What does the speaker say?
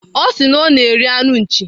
Ọ sị na ọ na-eri anụ nchi.